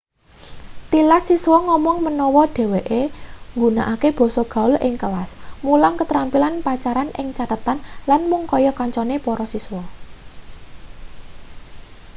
tilas siswa ngomong menawa dheweke nggunakake basa gaul ing kelas mulang ketrampilan pacaran ing catetan lan mung kaya kancane para siswa